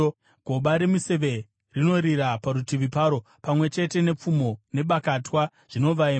Goba remiseve rinorira parutivi paro, pamwe chete nepfumo nebakatwa zvinovaima.